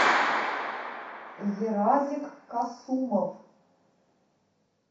еразик касумов